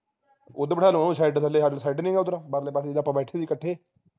ਉਧਰ ਬੈਠਾ ਲੂ ਓਹਨੂੰ shed ਥਲੇ ਸਾਡੇ shed ਨੀ ਹੈਗਾ ਓਧਰ ਪਰਲੇ ਪਾਸੇ ਜਿਥੇ ਆਪਾ ਬੈਠੇ ਸੀ ਕੱਠੇ